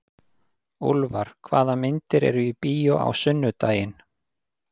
Úlfar, hvaða myndir eru í bíó á sunnudaginn?